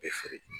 E feere